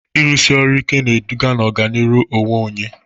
Ịrụsi ọrụ ike na-eduga n'ọganihu onwe onye.